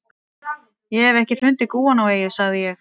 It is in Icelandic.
Ég hef ekki fundið gúanóeyju, sagði ég.